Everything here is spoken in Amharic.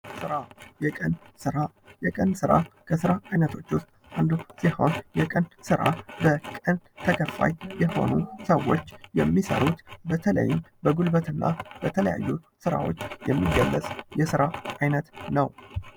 ስራ የቀን ስራ የቀን ስራ ከስራ አይነቶች ውስት አንዱ ሲሆን የቀን ስራ በቀን ተከፋይ የሆኑ ሰዎች የሚሰሩት በተለይም በጉልበትና በተለያዩ ስራዎችን የሚገለጽ የስራ አይነት ነው።